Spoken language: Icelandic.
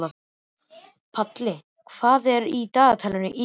Palli, hvað er í dagatalinu í dag?